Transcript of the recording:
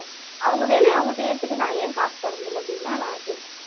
அவங்க வேலையை அவங்க செய்றதுக்கு நான் ஏன் காசு தரணும் அப்படின்னுதான் நான் கேக்குறன்